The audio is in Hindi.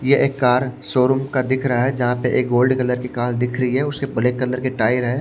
ये एक कार शोरूम का दिख रहा है जहां पे एक गोल्ड कलर की कार दिख रही है उसके ब्लैक कलर के टायर हैं।